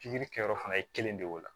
Pikiri kɛ yɔrɔ fana ye kelen de ye o la